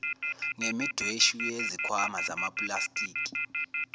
ngemidweshu yezikhwama zamapulastiki